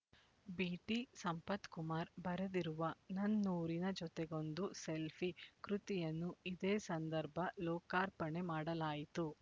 BT Sampathkumar ಬರೆದಿರುವ ನನ್ನೂರಿನ ಜೊತೆಗೊಂದು ಸೆಲ್ಫಿ ಕೃತಿಯನ್ನು ಇದೇ ಸಂದರ್ಭ ಲೋಕಾರ್ಪಣೆ ಮಾಡಲಾಯಿತು